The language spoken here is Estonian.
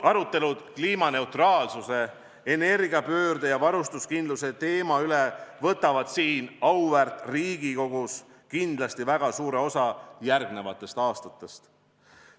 Arutelud kliimaneutraalsuse, energiapöörde ja varustuskindluse teemal võtavad siin auväärt Riigikogus kindlasti väga suure osa järgnevate aastate aruteludest.